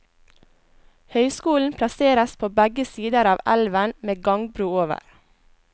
Høyskolen plasseres på begge sider av elven med gangbro over.